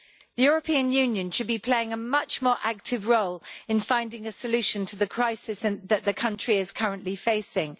The European Union should be playing a much more active role in finding a solution to the crisis that the country is currently facing.